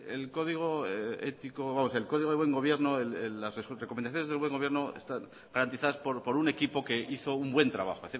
el código ético vamos el código de buen gobierno las recomendaciones del buen gobierno están garantizadas por un equipo que hizo un buen trabajo